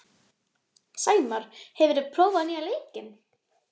Sæmar, hefur þú prófað nýja leikinn?